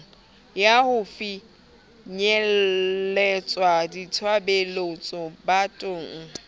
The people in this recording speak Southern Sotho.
ya ho finyeletsa ditshebeletso bathong